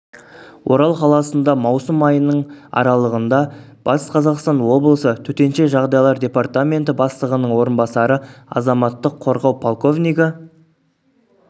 орал қаласында маусым айының аралығында батыс қазақстан облысы төтенше жағдайлар департаменті бастығының орынбасары азаматтық қорғау полковнигі